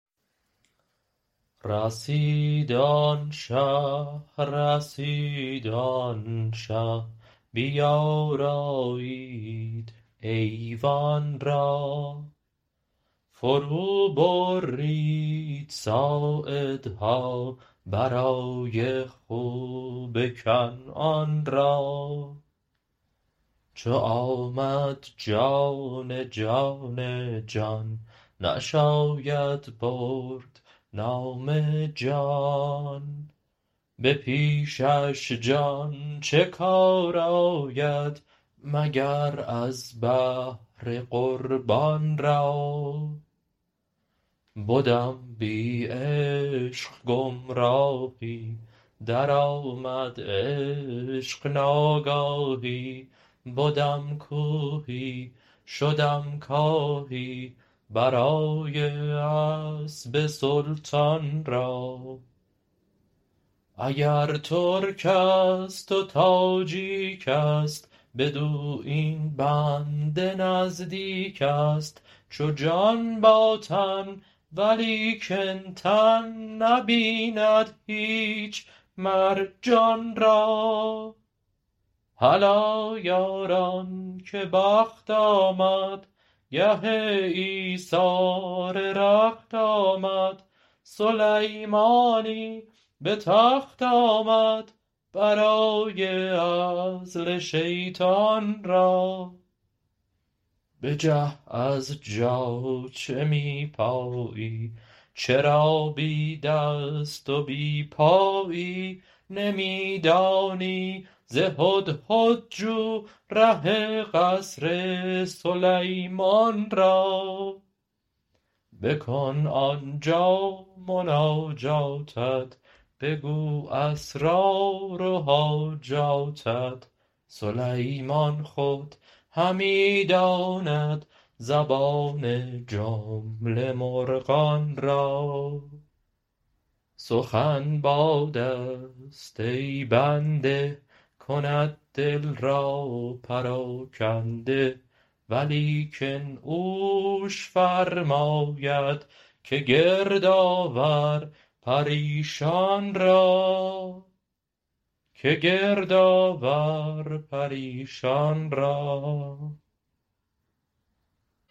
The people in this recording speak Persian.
رسید آن شه رسید آن شه بیارایید ایوان را فروبرید ساعدها برای خوب کنعان را چو آمد جان جان جان نشاید برد نام جان به پیشش جان چه کار آید مگر از بهر قربان را بدم بی عشق گمراهی درآمد عشق ناگاهی بدم کوهی شدم کاهی برای اسب سلطان را اگر ترکست و تاجیکست بدو این بنده نزدیکست چو جان با تن ولیکن تن نبیند هیچ مر جان را هلا یاران که بخت آمد گه ایثار رخت آمد سلیمانی به تخت آمد برای عزل شیطان را بجه از جا چه می پایی چرا بی دست و بی پایی نمی دانی ز هدهد جو ره قصر سلیمان را بکن آن جا مناجاتت بگو اسرار و حاجاتت سلیمان خود همی داند زبان جمله مرغان را سخن بادست ای بنده کند دل را پراکنده ولیکن اوش فرماید که گرد آور پریشان را